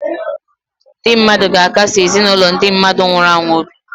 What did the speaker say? Ndị mmadụ ga-akasi ezinụlọ ndị mmadụ nwụnahụrụ obi.